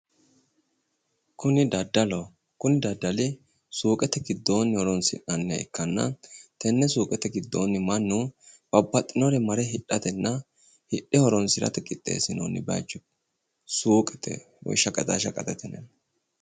Kuni daddaloho. Kuni daddali suuqete giddoonni horoonsi'nanniha ikkanna tenne suuqete giddoonni mannu babbaxinore mare hidhatenna hidhe horoonsirate qixxeessinoonni bayicho suuqete woyi shaqaxaa shaqaxete yinanni.